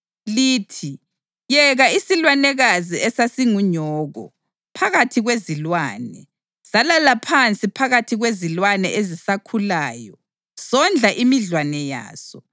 lithi: ‘Yeka isilwanekazi esasingunyoko phakathi kwezilwane! Salala phansi phakathi kwezilwane ezisakhulayo sondla imidlwane yaso.